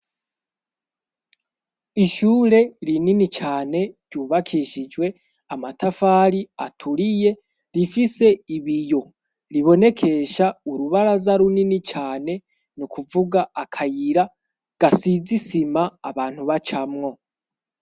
Ishure rinini cane ryubakishijwe amatafari aturiye rifise ibiyo ribonekesha urubaraza runini cane ni kuvuga akayira gasize isima abantu bacamwo.